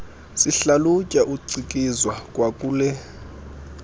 sihlalutya ucikizwa kwakule